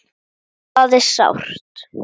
Það er sárt.